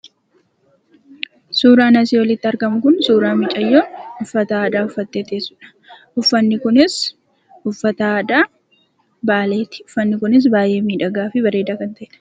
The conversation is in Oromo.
Suuraan asi oliitti argamu kun, suuraa mucaayoo ufaata aadaa ufatee tessudha. Ufatni kunis ufataa aadaa Baaleetti. Ufatni kunis baay'ee midhagaafi baay'ee bareeda kan ta'edha.